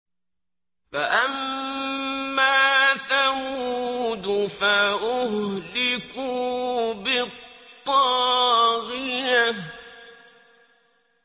فَأَمَّا ثَمُودُ فَأُهْلِكُوا بِالطَّاغِيَةِ